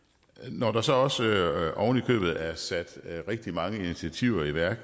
når der så så oven i købet allerede er sat rigtig mange initiativer i værk